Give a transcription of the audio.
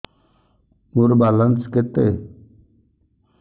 ମୋର ବାଲାନ୍ସ କେତେ